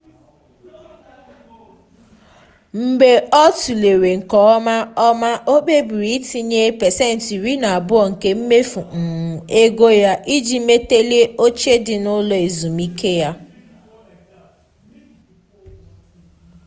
mgbe ọ tụlere nke ọma ọma ọ kpebiri itinye pasentị iri na abuo nke mmefu um ego ya iji melite oche dị n’ụlọ ezumike ya.